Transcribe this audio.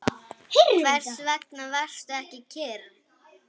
Hvers vegna varstu ekki kyrr?